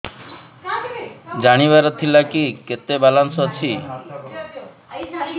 ଜାଣିବାର ଥିଲା କି କେତେ ବାଲାନ୍ସ ଅଛି